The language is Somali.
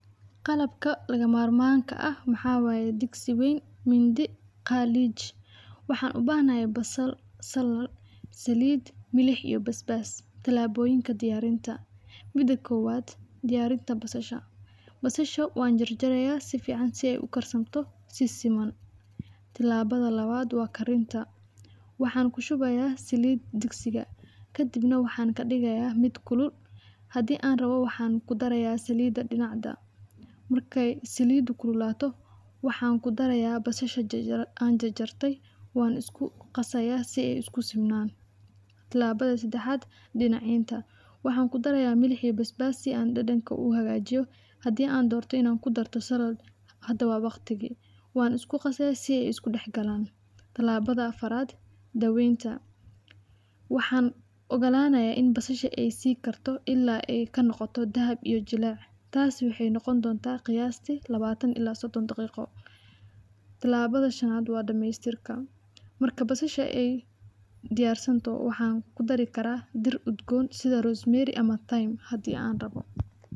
Qalabka laga marmanka aah waxaa waye digsi weyn indi khalij waxaan u bahanahy basal saliid iyo basbaas tilaboyinkla diyarinta mida kowaad diyarinta basasha basasha waan jar jarayaa si fican si aay u karsanto si siman tilabada labaat wa karinta waxaan ku shubayaa saliid digsiga kaddib waxaan ka dhigayaa miit kulul hadii aan rawo waxaan ku darayaa saliid dhinaca marka saliidda aay kululato waxaan ku darayaa basasha aan jar jartay waan isku qasayaa si aay isku siman tilabada sadaxaat dinaciinta waxaan ku darayaa milix iyo baaas baas si aan dhadhanka aan u hagajiyo hadii aan dorto in aan ku daro salaad hada wa waqtigii wana isku qasi si aay isku daax galaan talabada afarat dawenta waxaan ogalanayaa in basasha sii karto ila aay ka noqoto dahab iyo jilaac taas waxaay noqoni donta qiyaastii lawatan ila sodon daqiiqo tilabada shanaat wa dhamaystirka marka basasha diyaarsanto waxaan ku dari karaa dhir u udgoon sida rosemary ama thyme hadii aan rabo.